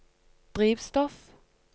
drivstoff